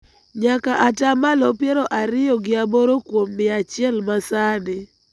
nyaka ata malo piero ariyo gi aboro kuom mia achiel ma sani,